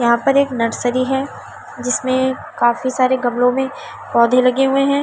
यहां पर एक नर्सरी है जिसमें काफी सारे गमलों में पौधे लगे हुए हैं।